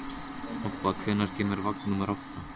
Obba, hvenær kemur vagn númer átta?